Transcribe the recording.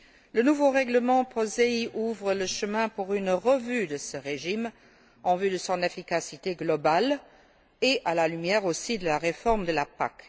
Le nouveau règlement POSEI ouvre la voie à une révision de ce régime en vue de son efficacité globale et à la lumière aussi de la réforme de la PAC.